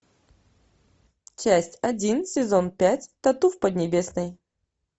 часть один сезон пять тату в поднебесной